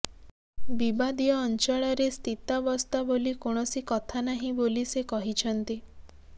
ବିବାଦୀୟ ଅଂଚଳରେ ସ୍ଥିତାବସ୍ଥା ବୋଲି କୌଣସି କଥା ନାହିଁ ବୋଲି ସେ କହିଛନ୍ତି